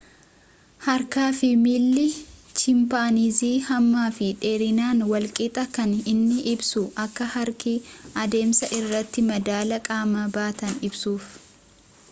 harka fi miilli chimpanzii hamma fi dheerinaan wal qixa kan inni ibsuus akka harki adeemsa irratti madaala qaama baatan ibsuuf